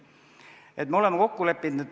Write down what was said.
Me oleme selle kokku leppinud.